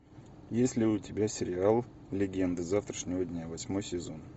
есть ли у тебя сериал легенды завтрашнего дня восьмой сезон